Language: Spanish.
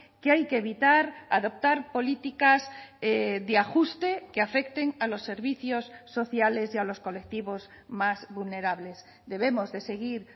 que hay que evitar adoptar políticas de ajuste que afecten a los servicios sociales y a los colectivos más vulnerables debemos de seguir